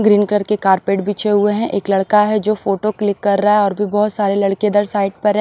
Green colour के carpet बिछे हुए हैं एक लड़का है जो फोटो क्लिक कर रहा है और भी बहुत सारे लड़के इधर साइड पर है।